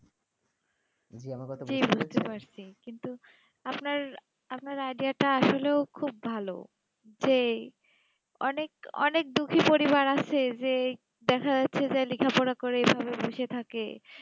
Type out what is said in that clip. জী আমাকে তো বুঝতে পারছি কিন্তু আপনার আপনার idea তা আসলে খুব ভালো যেই অনেক অনেক দুঃখী পরিবারে আছে যে দেখা যাচ্ছেই লিখা পড়া করে এই ভাবে বোসদে থাকে